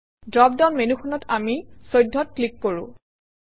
drop down মেনুখনত আমি 14 অত ক্লিক কৰোঁ